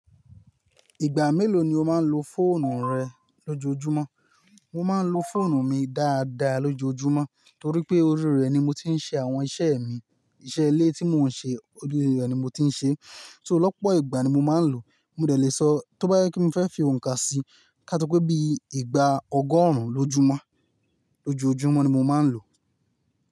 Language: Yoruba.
Ìgbà mélòó ni o máa ń lo fóònù rẹ lójoojúmọ́? Mo máa ń lo fóònù mi dáadáa lójoojúmọ́ torí pé orí rẹ̀ ni mo ti ń ṣe àwọn iṣẹ́ mi. Iṣẹ́ ilé tí mò ń ṣe, orí rẹ̀ ni mò ti ń ṣe. So lọ́pọ̀ ìgbà ni mo máa ń lò ó. Mo dẹ̀ lè sọ tó bá jẹ kí mo fẹ́ fi òǹkà si, ká só pé bí ìgbà ọgọ́rùn lójúmọ́, lójoojúmọ́ ni mo máa ń lò ó.